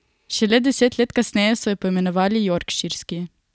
Šele deset let kasneje so jo poimenovali jorkširski.